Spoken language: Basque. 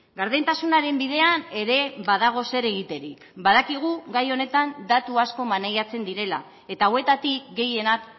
gardentasunaren bidean ere badago zer egiterik badakigu gai honetan datu asko maneiatzen direla eta hauetatik gehienak